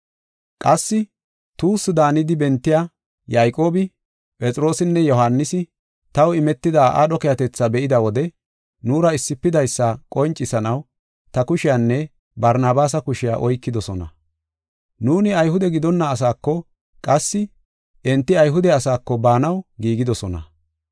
Qassi tuussu daanidi bentiya Yayqoobi, Phexroosinne Yohaanisi, taw imetida aadho keehatetha be7ida wode nuura issifidaysa qoncisanaw ta kushiyanne Barnabaasa kushiya oykidosona. Nuuni Ayhude gidonna asaako, qassi enti Ayhude asaako baanaw giigidosona.